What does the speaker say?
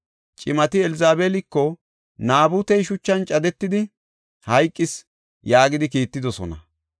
Cimati Elzabeeliko, “Naabutey shuchan cadetidi hayqis” yaagidi kiittidosona.